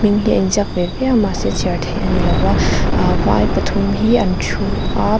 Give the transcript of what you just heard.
hming hi a in ziak ve viau a mahse chhiar theih a ni lo a vai pathum hi an thu a.